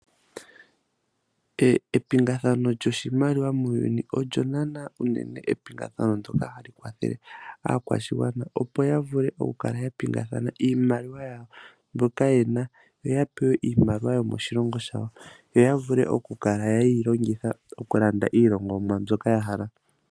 Epingathano lyoshimaliwa muuyuni olyo naana unene epingathano ndjoka hali kwathele aakwashigwana opo ya vule okukala yapingakanitha iimaliwa yawo mbyoka yena. Yoya pewe iimaliwa yomoshilongo shawo. Etayeyi longitha okulanda iilongomwa mbyoka ya hala.